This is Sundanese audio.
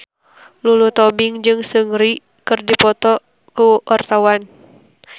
Lulu Tobing jeung Seungri keur dipoto ku wartawan